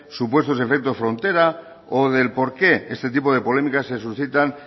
supuesto efecto frontera o del por qué este tipo de polémicas se suscitan